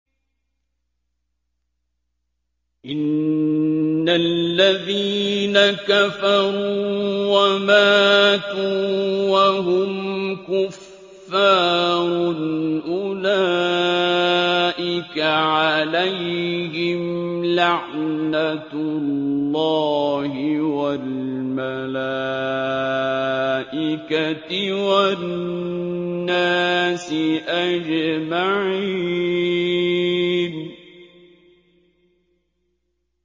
إِنَّ الَّذِينَ كَفَرُوا وَمَاتُوا وَهُمْ كُفَّارٌ أُولَٰئِكَ عَلَيْهِمْ لَعْنَةُ اللَّهِ وَالْمَلَائِكَةِ وَالنَّاسِ أَجْمَعِينَ